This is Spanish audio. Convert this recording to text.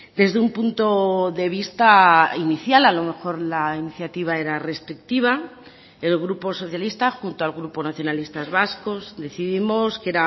desde un punto de vista inicial a lo mejor la iniciativa era restrictiva el grupo socialista junto al grupo nacionalistas vascos decidimos que